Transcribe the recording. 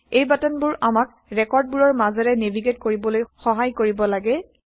এই বাটনবোৰ আমাক ৰেকৰ্ডবোৰৰ মাজেৰে নেভিগেইট কৰিবলৈ সহায় কৰিব লাগে